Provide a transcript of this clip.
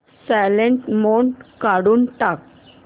silent mode काढून टाक